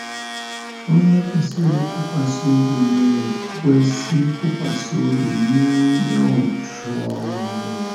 Onye kwesịrị ịtụkwasị obi na - ekwesị ntụkwasị obi nye onye òtù ọlụlụ ya.